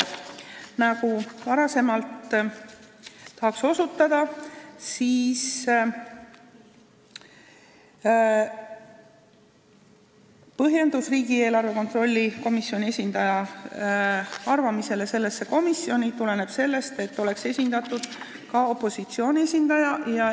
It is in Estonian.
Nii nagu varem, tahan osutada, et riigieelarve kontrolli komisjoni esindaja arvamine nõukokku on põhjendatud sooviga, et seal oleks esindatud ka opositsiooni esindaja.